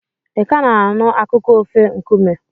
Ị ka na-anụ akụkọ ofe nkume?